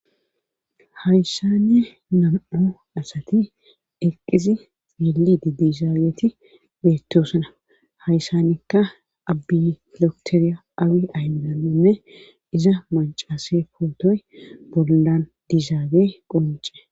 hayssani nam7o asati eqqizi beli didishaaweeti beettoosana hayssanikka abbilokteriya awi ayydaame iza macaase pootoy bolan dizaage qonce